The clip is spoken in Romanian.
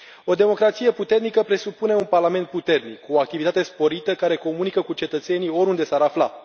O democrație puternică presupune un parlament puternic, cu activitate sporită, care comunică cu cetățenii, oriunde s ar afla.